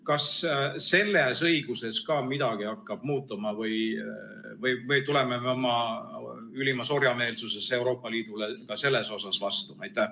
Kas selles õiguses ka midagi hakkab muutuma või me tuleme oma ülimas orjameelsuses Euroopa Liidule ka selles osas vastu?